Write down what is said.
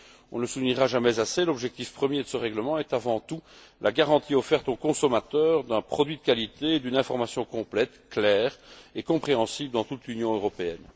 On ne le soulignera jamais assez, l'objectif premier de ce règlement est avant tout la garantie offerte, aux consommateurs, d'un produit de qualité et d'une information complète, claire et compréhensible dans toute l'Union européenne.